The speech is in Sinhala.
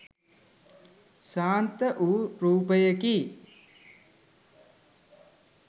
ශාන්ත වූ රූපයකි